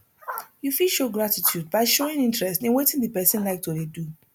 you fit show gratitude by showing interest in wetin di person like to dey do